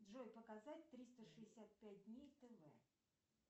джой показать триста шестьдесят пять дней тв